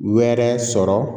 Wɛrɛ sɔrɔ